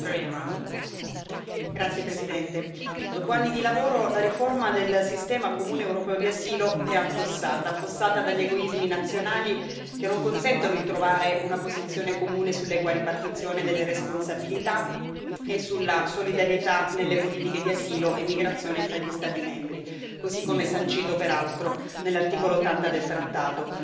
Signora Presidente, onorevoli colleghi, dopo anni di lavoro, la riforma del sistema comune europeo di asilo è affossata, affossata dagli egoismi nazionali che non consentono di trovare una posizione comune sull'equa ripartizione delle responsabilità e sulla solidarietà nelle politiche di asilo e immigrazione fra gli Stati membri, così come sancito, peraltro, nell'articolo 80 del trattato.